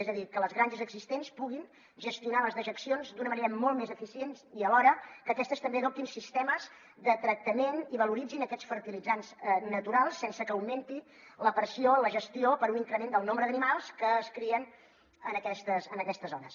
és a dir que les granges existents puguin gestionar les dejec cions d’una manera molt més eficient i alhora que aquestes també adoptin sistemes de tractament i valoritzin aquests fertilitzants naturals sense que augmenti la pressió a la gestió per un increment del nombre d’animals que es crien en aquestes zones